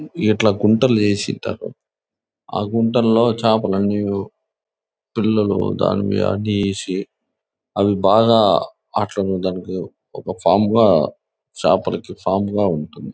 ఇట్లా గుంతలు చేసి పెట్టారు ఆ గుంటల్లో చేపలన్నీ పిల్లలు అవి బాగా అట్లా నే దానికి ఒక ఫార్మ్ గ చేపలికి ఫార్మ్ గ ఉంటది.